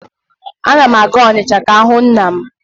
Ana m aga Onicha ka m hụ nna m.